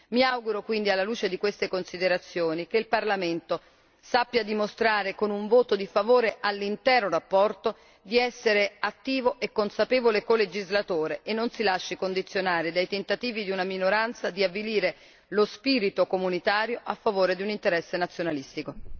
Mi auguro quindi, alla luce di queste considerazioni, che il Parlamento sappia dimostrare, con un voto di favore all'intera relazione, di essere attivo e consapevole colegislatore e non si lasci condizionare dai tentativi di una minoranza di avvilire lo spirito comunitario a favore di un interesse nazionalistico.